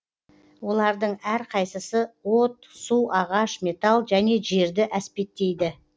олардың әрқайсысы от су ағаш металл және жерді әспеттейді